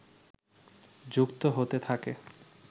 যুক্ত হতে থাকে